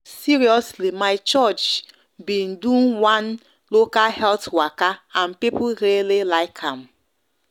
seriously my church been do one been do one local health waka and people really like am